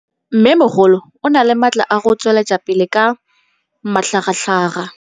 Mmêmogolo o na le matla a go tswelela pele ka matlhagatlhaga.